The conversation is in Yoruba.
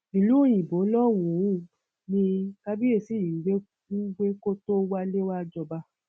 ìlú òyìnbó lọhùnún ni kábíyèsí yìí ń gbé ń gbé kó tóó wálẹ wàá jọba